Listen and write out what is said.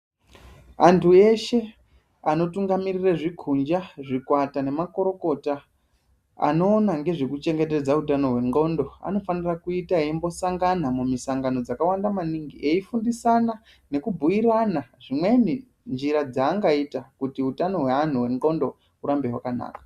Antu eshe anotungamirire zvikunja zvikwata nemakuru kota anoona ngezvekuchengetwdza utano hwendxondo anofane kuita eimbosangana mumisangano dzakawanda maningi eifundisana nekubhiirana zvimweni njira dzaangaita kuti utano hweanhu hwendxondo hurambe hwakanaka.